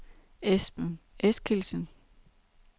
Esben Eskildsen